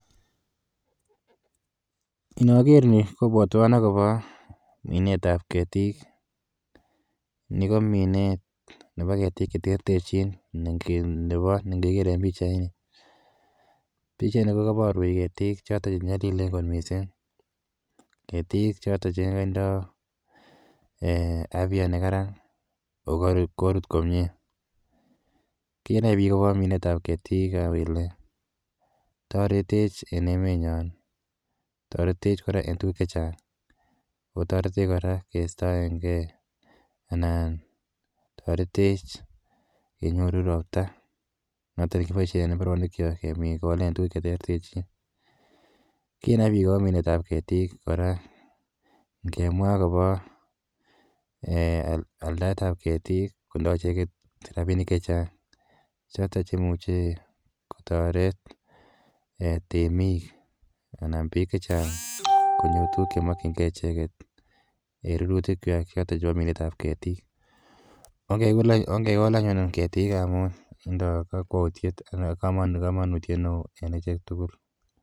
Inaker ni kopwatwan akopa minetap ketik. Ni ko minet nepo ketik che terterchin nepa ne ngekere en pichaini. Pichaini ko kaparwech ketik chotok che nyalilen kot missing', ketik chotok che tindai afya ne kararan ako korut komye. Kinai pik akopa minetap ketik ile taretech en emenyon, taretech kora en tuguk che chang' ako taretech kora keistaengei anan taretech kenyoru ropta noton ne kipoishen en mbarobikchok kekolen tuguk che terterchin. Kinet pik akopa minetap ketik kora ngemwa akopa aldaet ap ketik kotindai icheget rapinik che chang' chotok che imuchi kotaret temiik anan pik che chang' konyor tuguk che makchingei icheget en rurutikwak chotok chepo minetap ketik. Ongekol anyun ketik amun tindai kamanutiet ne oo en achek tugul.